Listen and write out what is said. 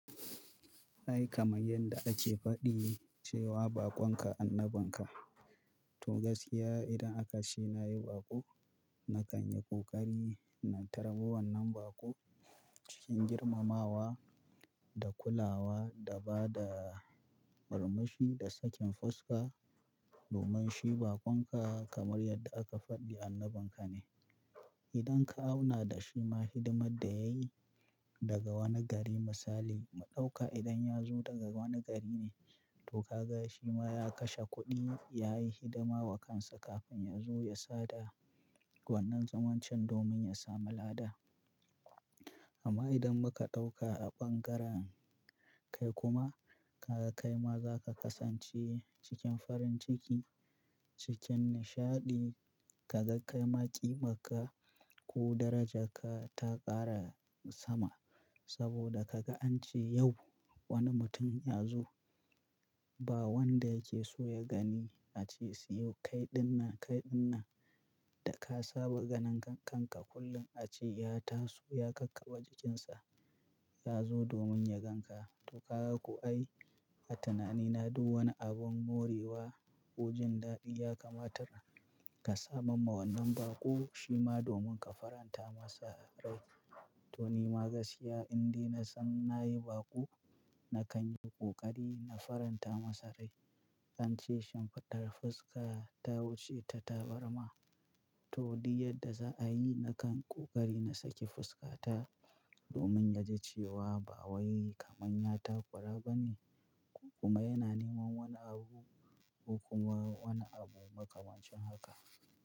Ai kamar yadda ake faɗi cewa bakonka annabinka. Toh gaskiya idan aka ce na yi baƙo, na kan yi ƙoƙari na tarbi wannan baƙo cikin girmamawa da kulawa da ba da murmushi da sakin fuska domin shi bakonka kamar yadda aka faɗi annabinka ne. Idan ka auna da shi ma hidimar da ya yi daga wani gari misali mu ɗauka idan ya zo daga wani gari ne, to ka ga shi ma ya kashe kuɗi ya yi hidima wa kansa kafin ya zo ya sada wannan zaman can domin ya sami lada. Amma idan muka ɗauka a ɓangaren kai kuma ka ga kai ma za ka kasance cikin farin ciki, cikin nishaɗi, ka ga kai ma ƙimarka ko daraja ka ta ƙara sama saboda ka ga an ce yau wani mutum ya zo, ba wanda yake so ya gani a ce siyo kai dinnan kai dinnan da ka saba ganin kanka kullum a ce ya taso ya kakkaɓa jikinsa ya zo domin ya gan ka. To ka ku ai a tanani na duk wani abun morewa ko jin daɗi ya kamata ka samar ma wannan baƙo shi ma domin ka faranta masa rai. To ni ma gaskiya indai na san na yi baƙo, na kan in yi ƙoƙari na faranta masa rai. An ce shimfidar fuska ta wuce ta tabarma. Toh duk yadda za a yi na kan ƙoƙari na saki fuskata domin ya ji cewa ba wai kamar ya takura ba ne kuma yana neman wani abu ko kuma wani abu maka wancan haka.